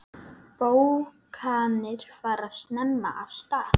Bókanir fara snemma af stað.